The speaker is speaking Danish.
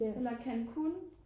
Eller Cancún